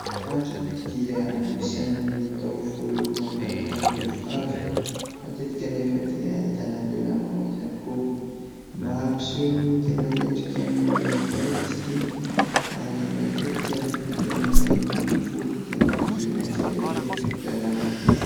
Randrana dia anisan'ny taovolo mampiavaka ny tovovavy. Matetika nefa dia ahitana lehilahy manao izany koa. Mampiseho ny tena endrikan'ny olona iray izy ity ary matetika rehefa tena mainty ny volo dia mangirana tsara ery rehefa vita randrana.